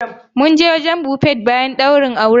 Mun je wajen Buffet bayan ɗaurin auren.